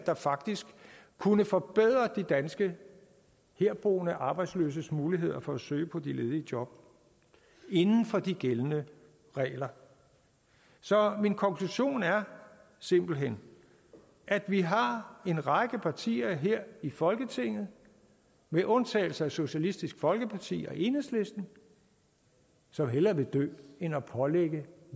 der faktisk kunne forbedre de danske herboende arbejdsløses muligheder for at søge på de ledige job inden for de gældende regler så min konklusion er simpelt hen at vi har en række partier her i folketinget med undtagelse af socialistisk folkeparti og enhedslisten som hellere vil dø end at pålægge